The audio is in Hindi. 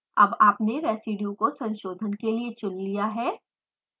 अब आपने रेज़िडियु को संशोधन के लिए चुन लिया है